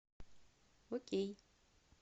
окей